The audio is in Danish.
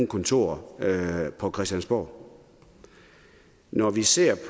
kontor på christiansborg når vi ser